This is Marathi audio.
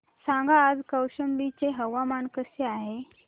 सांगा आज कौशंबी चे हवामान कसे आहे